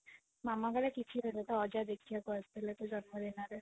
ମାମା କହିଲେ କିଛି ଦରଣି ତୋ ଅଜା ଦେଖିବାକୁ ଆସିଥିଲେ ତୋ ଜନ୍ମ ଦିନରେ